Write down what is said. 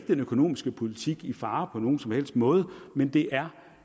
den økonomiske politik i fare på nogen som helst måde men det er